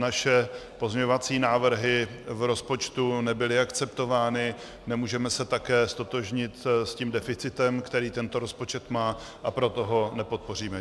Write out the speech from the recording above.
Naše pozměňovací návrhy v rozpočtu nebyly akceptovány, nemůžeme se také ztotožnit s tím deficitem, který tento rozpočet má, a proto ho nepodpoříme.